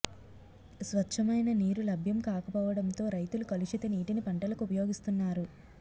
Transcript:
స్వచ్చమైన నీరు లభ్యం కాకపోవడంతో రైతులు కలుషిత నీటిని పంటలకు ఉపయోగిస్తున్నారు